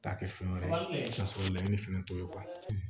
T'a kɛ fɛn wɛrɛ ye ka sɔrɔ laɲini fɛnɛ t'o ye